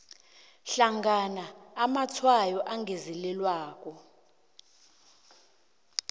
hlangana amatshwayo angezelelweko